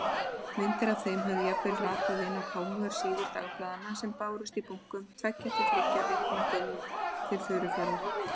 Myndir af þeim höfðu jafnvel ratað inn á kámugar síður dagblaðanna sem bárust í bunkum, tveggja til þriggja vikna gömul, til Furufjarðar.